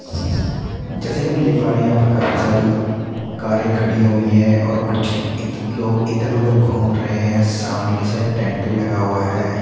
जैसा कि हम देख पा रहे हैं यहाँ पर काफी सारी कारें खड़ी हुई हैं और कुछ इध लोग इधर-उधर घूम रहे हैं। सामने की साइड टेंट भी लगा हुआ है।